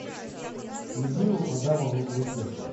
людмилу адамовну лысенко